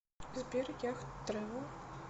сбер яхт трэвел